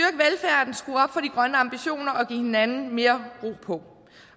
grønne ambitioner og give hinanden mere ro på